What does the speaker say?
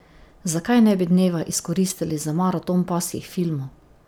Zakaj ne bi dneva izkoristili za maraton pasjih filmov?